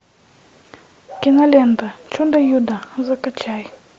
кинолента чудо юдо закачай